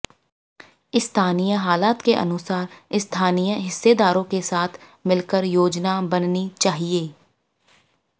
स्थानीय हालात के अनुसार स्थानीय हिस्सेदारों के साथ मिलकर योजना बननी चाहिए